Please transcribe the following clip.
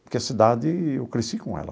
Porque a cidade, eu cresci com ela.